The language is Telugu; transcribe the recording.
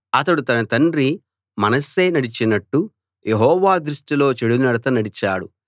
అతడు తన తండ్రి మనష్షే నడిచినట్టు యెహోవా దృష్టిలో చెడునడత నడిచాడు